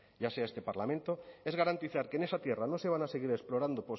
ya sea este parlamento es garantizar que en esa tierra no se van a seguir explorando